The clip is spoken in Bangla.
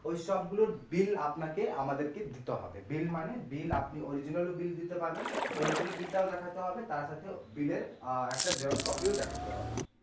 ওইসব গুলোর bill আপনাকে আমাদেরকে দিতে হবে bill মানে bill আপনি original bill টাও দেখাতে হবে তার সাথে bill এর একটা xerox copy ও দেখাতে হবে।